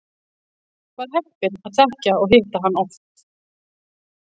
Var heppinn að þekkja og hitta hann oft.